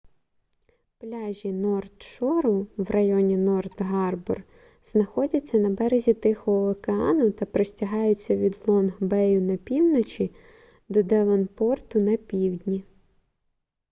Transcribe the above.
пляжі норт шору в районі норт гарбор знаходяться на березі тихого океану та простягаються від лонг бею на півночі до девонпорту на півдні